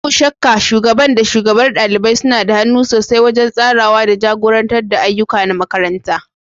Babu shakka, Shugaban da shugabar ɗalibai suna da hannu sosai wajen tsarawa da jagorantar ayyuka na makaranta.